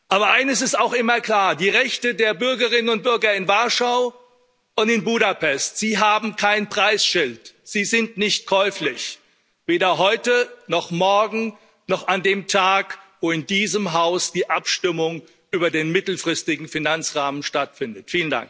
Aber eines ist auch immer klar Die Rechte der Bürgerinnen und Bürger in Warschau und in Budapest haben kein Preisschild, sie sind nicht käuflich, weder heute noch morgen noch an dem Tag, wo in diesem Haus die Abstimmung über den mittelfristigen Finanzrahmen stattfindet.